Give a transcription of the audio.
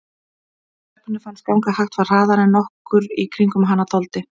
Það sem stelpunni fannst ganga hægt var hraðara en nokkur í kringum hana þoldi.